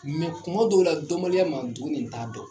Mɛ kuma dɔw la dɔnbaliya ma dɔn ni t'a dɔn